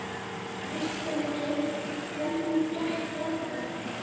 Kristjana, hvernig gekk ferðalagið?